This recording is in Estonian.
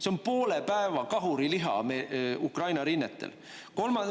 See on poole päeva kahuriliha Ukraina rinnetel.